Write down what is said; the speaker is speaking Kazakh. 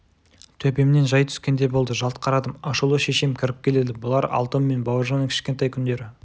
төбемнен жай түскеңдей болды жалт қарадым ашулы шешем кіріп келеді бұлар алтын мен бауыржанның кішкентай күндері